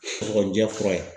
Kɔkɔninjɛ fura ye.